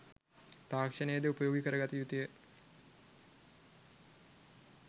තාක්‍ෂණයද උපයෝගී කරගත යුතු ය.